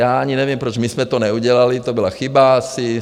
Já ani nevím, proč my jsme to neudělali, to byla chyba asi.